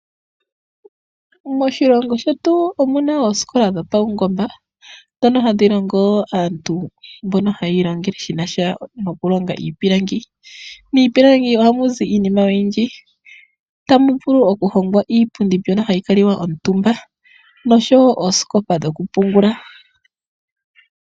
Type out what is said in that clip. Moshilongo shetu omuna oosikola dhopaungomba dhono hadhi longo aantu mboka hayi ilongele shinasha nokulonga iipilangi. Miipilangi ohamu zi iinima oyindji ohamu vulu okulongwa iipundi yokukala omutumba oshowo oosikopa dhokupungula.